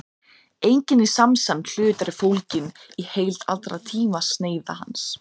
einingin í samsemd hlutar er fólgin í heild allra tímasneiða hans